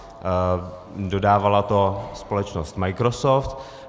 Dodávala to společnost Microsoft.